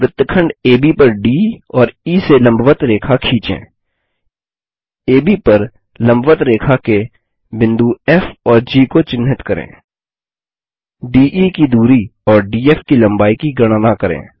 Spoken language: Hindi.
वृत्तखंड एबी पर डी और ई से लम्बवत्त रेखा खींचें एबी पर लम्बवत्त रेखा के बिंदु फ़ और जी को चिन्हित करें डीई की दूरी और डीएफ की लम्बाई की गणना करें